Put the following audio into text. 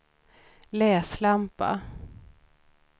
läslampa